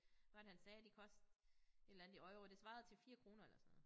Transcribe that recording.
Hvad var det han sagde de kostede et eller andet i euro det svarede til 4 kroner eller sådan noget